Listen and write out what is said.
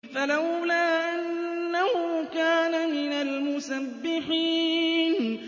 فَلَوْلَا أَنَّهُ كَانَ مِنَ الْمُسَبِّحِينَ